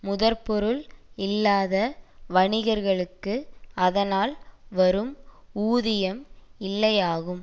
முதற்பொருள் இல்லாத வணிகர்களுக்கு அதனால் வரும் ஊதியம் இல்லையாகும்